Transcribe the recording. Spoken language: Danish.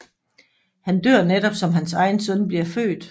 Han dør netop som hans egen søn bliver født